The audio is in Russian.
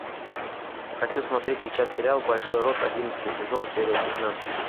хочу смотреть сейчас сериал большой рот одиннадцатый сезон серия пятнадцать